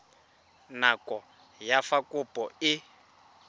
nako ya fa kopo e